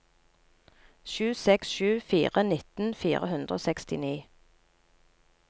sju seks sju fire nitten fire hundre og sekstini